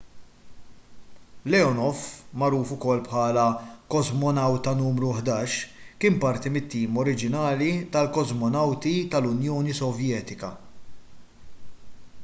leonov magħruf ukoll bħala kosmonawta nru 11 kien parti mit-tim oriġinali tal-kosmonawti tal-unjoni sovjetika